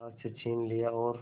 हाथ से छीन लिया और